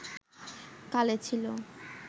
কালে ছিল